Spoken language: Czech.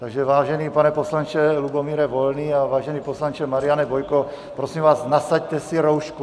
Takže vážený pane poslanče Lubomíre Volný a vážený poslanče Mariane Bojko, prosím vás, nasaďte si roušku.